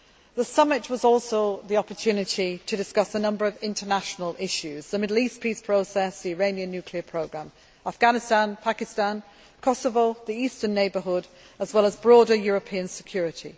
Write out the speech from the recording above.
The summit was also an opportunity to discuss a number of international issues the Middle East peace process, the Iranian nuclear programme, Afghanistan Pakistan, Kosovo, the Eastern Neighbourhood, as well as broader European security.